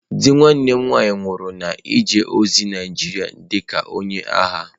Di nwanne m nwanyị nwụrụ na-eje ozi Naịjirịa dị ka onye agha.